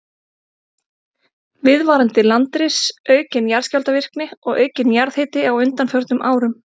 Viðvarandi landris, aukin jarðskjálftavirkni og aukinn jarðhiti á undanförnum árum.